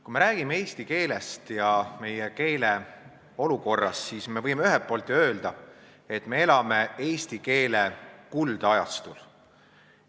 Kui me räägime eesti keelest ja meie keele olukorrast, siis ühelt poolt võime ju öelda, et me elame eesti keele kuldajastul.